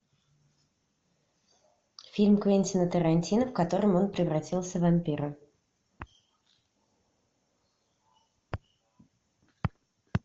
фильм квентина тарантино в котором он превратился в вампира